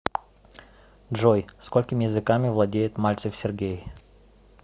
джой сколькими языками владеет мальцев сергей